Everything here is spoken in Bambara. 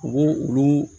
U b'u olu